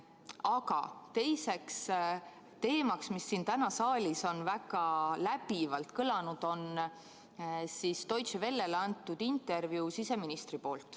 Aga teine teema, mis täna siin saalis on väga läbivalt kõlanud, on siseministri poolt Deutsche Wellele antud intervjuu.